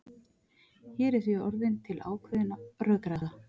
Hér er því orðin til ákveðin rökræða.